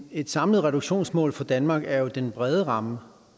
et samlet reduktionsmål for danmark er jo den brede ramme